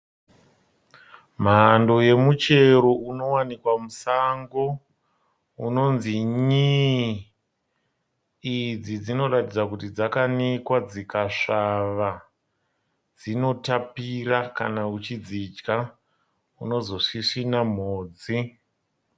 Mhando yemuchero unowanikwa musango unonzi nyii. Idzi dzinoratidza kuti dzakanikwa dzikasvava, dzinotapira kana uchidzidya unozosvisvina mhodzi.